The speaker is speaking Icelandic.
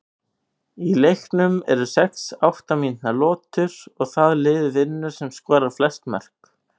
Í leiknum eru sex átta mínútna lotur og það lið vinnur sem skorar flest mörk.